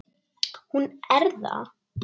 Hún er það.